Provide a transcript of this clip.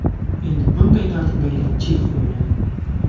Endi bunday tartiblarga chek qo‘yiladi.